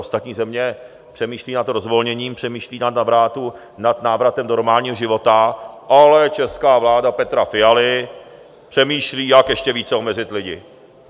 Ostatní země přemýšlejí nad rozvolněním, přemýšlejí nad návratem normálního života, ale česká vláda Petra Fialy přemýšlí, jak ještě více omezit lidi.